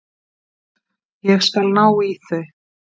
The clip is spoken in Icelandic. Ég skal ná í þau.